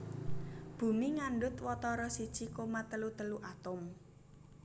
Bumi ngandhut watara siji koma telu telu atom